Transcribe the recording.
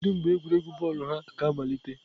Kedu mgbe egwuregwu bọọlụ ha ga-amalite?